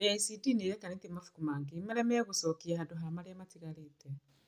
KĩCD nĩ ĩrekanĩtie mabuku mangĩ marĩa megũcokia handũ ha marĩa matigarĩte.